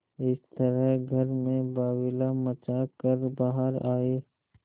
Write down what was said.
इस तरह घर में बावैला मचा कर बाहर आये